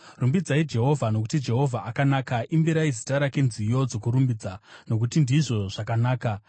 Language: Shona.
Rumbidzai Jehovha, nokuti Jehovha akanaka; imbirai zita rake nziyo dzokurumbidza, nokuti ndizvo zvakanaka.